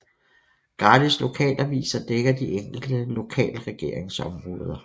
Gratis lokalaviser dækker de enkelte lokalregeringsområder